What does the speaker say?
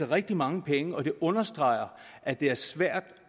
rigtig mange penge og det understreger at det er svært